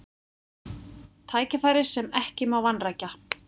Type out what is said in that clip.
Tækifæri sem ekki má vanrækja